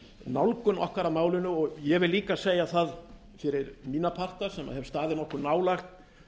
nálgun okkar að málinu og ég vil líka segja það fyrir mína parta sem hef staðið nokkuð nálægt